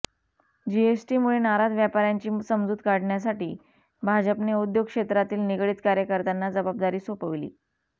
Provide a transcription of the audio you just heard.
जीएसटीमुळे नाराज व्यापाऱयांची समजूत काढण्यासाठी भाजपने उद्योगक्षेत्राशी निगडित कार्यकर्त्यांना जबाबदारी सोपविली